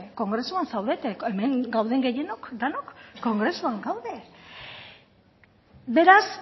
kongresuan zaudete hemen gauden gehienok denok kongresuan gaude beraz